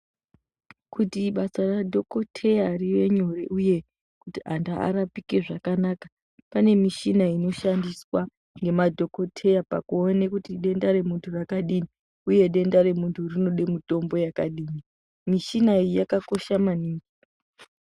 Kuti basa radhokoyeteya rive nyore uye kuti antu arapike zvakanaka pane michina inoshandiswa ngemadhokodheya kuti denda remutu rakadini uye denda remunhu rinode mutombo yakadini michina iyi yakakosha maningi.